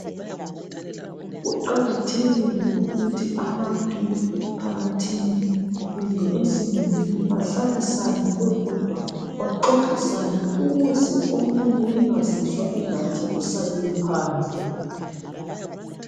Kuqakathekile ukuthi abantu emphakathini kumbe ezimulini bahlalisane bebodwa baxoxisane ukuze omunye engazizwa ingathi usalele phandle